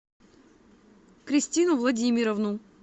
кристину владимировну